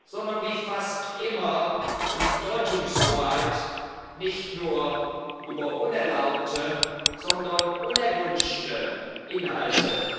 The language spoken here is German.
sondern wie fast immer um Deutungshoheit nicht nur über unerlaubte, sondern auch über unerwünschte Inhalte.